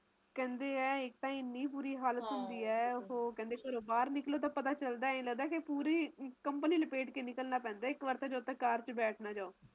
ਕਹਿੰਦੇ ਐ ਇੱਕ ਤਾ ਬਹੁਤ ਬੁਰੀ ਹਾਲਤ ਹੁੰਦੀ ਹੈ ਓਹੋ ਘਰੋਂ ਬਾਹਰ ਨਿਕਲੋ ਤਾ ਪਤਾ ਚਲਦਾ ਹੈ ਆਏ ਲਗਦਾ ਕੇ ਪੂਰੀ ਕੰਬਲ ਹੀ ਲਪੇਟ ਕੇ ਹੀ ਨਿਕਲਣਾ ਪੈਂਦਾ ਹੈ ਇੱਕ ਵਾਰ ਤਾ ਜਦੋ ਤੱਕ car ਵਿੱਚ ਬੈਠ ਨਾ ਜਾਓ